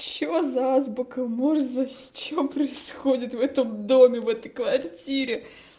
что за азбука морзе что происходит в этом доме в этой квартире